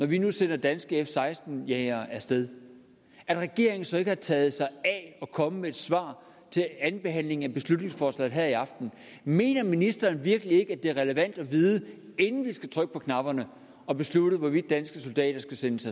vi nu sender danske f seksten jagere af sted at regeringen så ikke har taget sig af at komme med et svar til andenbehandlingen af beslutningsforslaget her i aften mener ministeren virkelig ikke at det er relevant at vide inden vi skal trykke på knapperne og beslutte hvorvidt danske soldater skal sendes